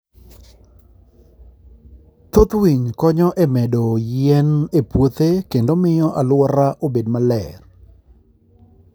Thoth winy konyo e medo yien e puothe kendo miyo alwora obed maber.